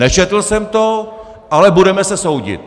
Nečetl jsem to, ale budeme se soudit!